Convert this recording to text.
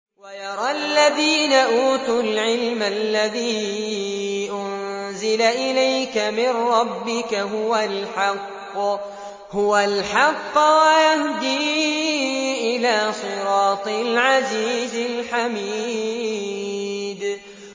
وَيَرَى الَّذِينَ أُوتُوا الْعِلْمَ الَّذِي أُنزِلَ إِلَيْكَ مِن رَّبِّكَ هُوَ الْحَقَّ وَيَهْدِي إِلَىٰ صِرَاطِ الْعَزِيزِ الْحَمِيدِ